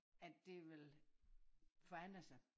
At det vil forandre sig